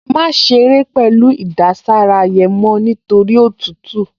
Má ṣeré pẹ̀lú ìdására yẹn mọ́ nítorí òtútù!